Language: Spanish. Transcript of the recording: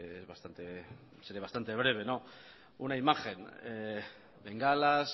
seré bastante breve una imagen bengalas